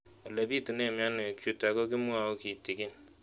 Ole pitune mionwek chutok ko kimwau kitig'�n